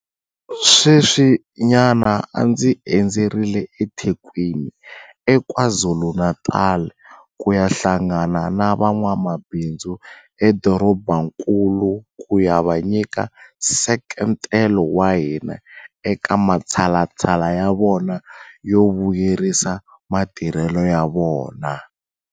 Sweswinyana a ndzi endzerile eThekwini eKwaZulu-Natal ku ya hlangana na van'wamabindzu edorobankulu ku ya va nyika nseketelo wa hina eka matshalatshala ya vona yo vuyelerisa matirhelo ya vona.